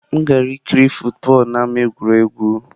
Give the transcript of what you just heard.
M gara ikiri football n'ámá egwuregwu.